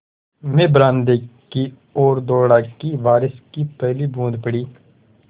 मैं बरामदे की ओर दौड़ा कि बारिश की पहली बूँद पड़ी